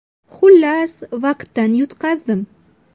Xullas, vaqtdan yutqazdim.